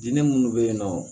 Diinɛ minnu bɛ yen nɔ